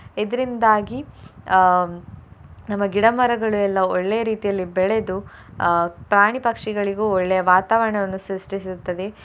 ಇದ್ರಿಂದಾಗಿ ಅಹ್ ನಮ್ಮ ಗಿಡ ಮರಗಳು ಎಲ್ಲ ಒಳ್ಳೆಯ ರೀತಿಯಲ್ಲಿ ಬೆಳೆದು ಅಹ್ ಪ್ರಾಣಿ ಪಕ್ಷಿಗಳಿಗೂ ಒಳ್ಳೆಯ ವಾತಾವರಣವನ್ನು ಸೃಷ್ಠಿಸುತ್ತದೆ.